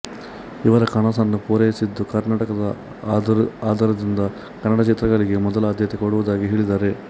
ಇವರ ಕನಸನ್ನು ಪೂರೈಸಿದು ಕರ್ನಾಟಕ ಆದ್ದರಿಂದ ಕನ್ನಡ ಚಿತ್ರಗಳಿಗೆ ಮೊದಲ ಆದ್ಯತೆ ಕೊಡುವುದಾಗಿ ಹೇಳಿದ್ದಾರೆ